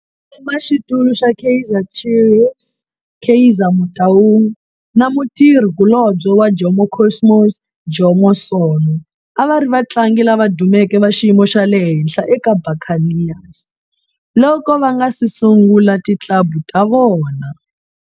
Mutshamaxitulu wa Kaizer Chiefs Kaizer Motaung na mutirhi kulobye wa Jomo Cosmos Jomo Sono a va ri vatlangi lava dumeke va xiyimo xa le henhla eka Buccaneers loko va nga si sungula ti club ta vona.